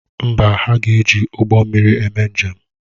Mba, ha ga-eji ụgbọ mmiri eme njem.